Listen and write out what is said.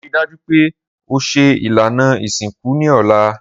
Rii daju pe o ṣe ilana isinku ni ọla.